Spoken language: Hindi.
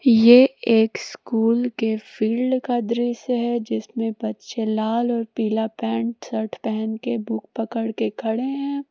ये एक स्कूल के फील्ड का दृश्य है जिसमें बच्चे लाल और पीला पैंट शर्ट पहन के बुक पकड़ के खड़े हैं।